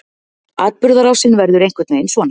Atburðarásin verður einhvern veginn svona: